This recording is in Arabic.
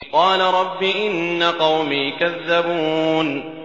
قَالَ رَبِّ إِنَّ قَوْمِي كَذَّبُونِ